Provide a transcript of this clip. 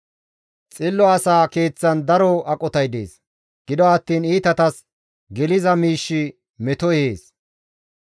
Xillo asa keeththan daro aqotay dees; gido attiin iitatas geliza miishshi meto ehees.